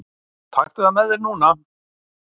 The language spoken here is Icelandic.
Taktu það með þér núna!